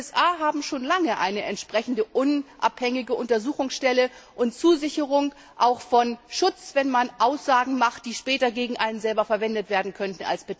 Die USA haben schon lange eine entsprechende unabhängige Untersuchungsstelle und Zusicherung von Schutz, wenn man Aussagen macht, die später gegen einen selber als Beteiligter verwendet werden könnten.